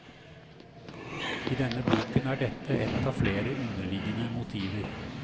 I denne boken er dette et av flere underliggende motiver.